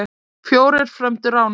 Fjórir frömdu ránið.